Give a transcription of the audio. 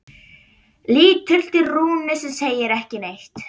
Lítur til Rúnu sem segir ekki neitt.